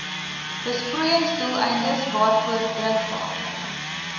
besproeiingsdoeleindes waarvoor drinkwater